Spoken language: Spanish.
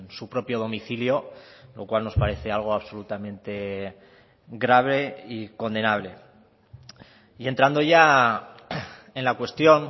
su propio domicilio lo cual nos parece algo absolutamente grave y condenable y entrando ya en la cuestión